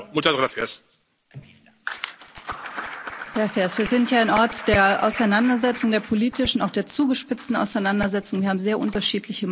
Wir sind hier ein Ort der Auseinandersetzung, der politischen, auch der zugespitzten Auseinandersetzung, wir haben sehr unterschiedliche Meinungen, und das ist auch gut und richtig so, dass wir das hier ausdrücken.